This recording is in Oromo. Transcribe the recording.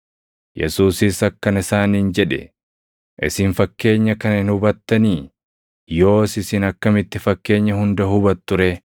Yesuusis akkana isaaniin jedhe; “Isin fakkeenya kana hin hubattanii? Yoos isin akkamitti fakkeenya hunda hubattu ree?